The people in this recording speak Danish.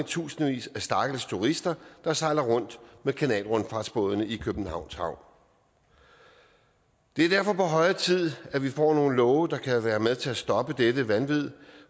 tusindvis af stakkels turister der sejler rundt med kanalrundfartsbådene i københavns havn det er derfor på høje tid at vi får nogle love der kan være med til at stoppe dette vanvid